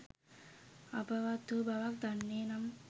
අපවත් වූ බවක් දන්නේ නම්